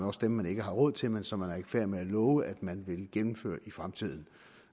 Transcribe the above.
også dem man ikke har råd til men som man er i færd med at love at man vil gennemføre i fremtiden